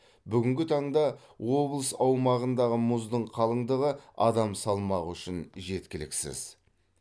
бүгінгі таңда облыс аумағындағы мұздың қалыңдығы адам салмағы үшін жеткіліксіз